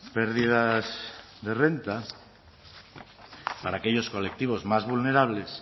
pérdidas de renta para aquellos colectivos más vulnerables